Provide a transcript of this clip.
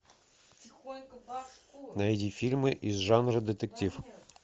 найди фильмы из жанра детектив